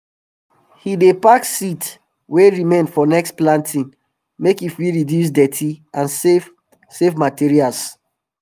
he dey pack seeds wey remain for next planting make e fit reduce dirty and save save materials